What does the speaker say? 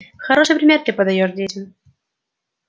хороший пример ты подаёшь детям